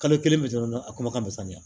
Kalo kelen bɛ dɔrɔn a kuma ka misɛn